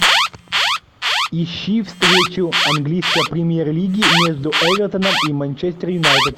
ищи встречу английской премьер лиги между эвертоном и манчестер юнайтед